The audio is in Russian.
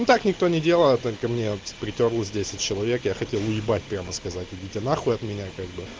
ну так никто не делал а только мне вот притёрлось десять человек я хотел уебать прямо сказать идите нахуй от меня как бы